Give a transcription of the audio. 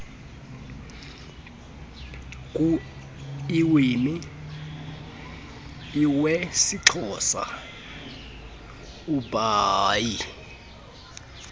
kuiwimi iwesixhosa ubhaie